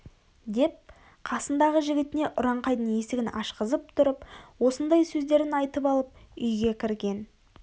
деп қасындағы жігітіне ұраңқайдың есігін ашқызып тұрып осындай сөздерін айтып алып үйге кірген